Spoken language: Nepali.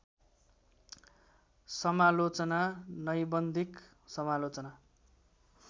समालोचना नैबन्धिक समालोचना